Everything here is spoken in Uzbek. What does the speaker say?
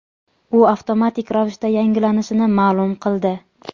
u avtomatik ravishda yangilanishini ma’lum qildi.